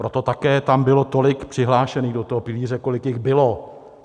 Proto také tam bylo tolik přihlášených do toho pilíře, kolik jich bylo.